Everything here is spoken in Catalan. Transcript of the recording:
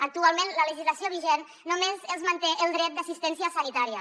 actualment la legislació vigent només els manté el dret d’assistència sanitària